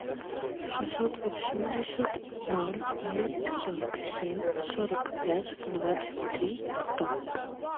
шестьсот восемьдесят ноль двести сорок семь сорок пять двадцать три сто